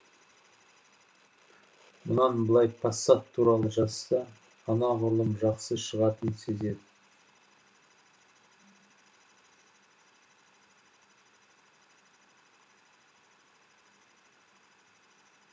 мұнан былай пассат туралы жазса анағұрлым жақсы шығатынын сезеді